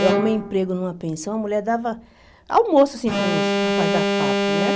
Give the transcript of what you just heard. Eu arrumei emprego numa pensão, a mulher dava almoço, assim, para os rapazes da fábrica, né?